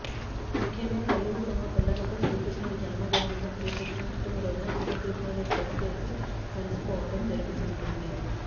ముఖ్యంగా తల్లులు తమ పిల్లలకు శ్రీకృష్ణుడి జన్మదినమైన క్రిష్ణాష్టమి రోజున చిన్ని క్రిష్ణుడి డ్రస్ వేసి మురిసిపోవటం జరుతుంటుంది